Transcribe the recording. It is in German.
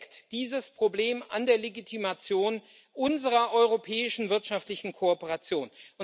Damit sägt dieses Problem an der Legitimation unserer europäischen wirtschaftlichen Kooperation.